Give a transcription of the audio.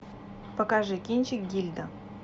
покажи кинчик гильда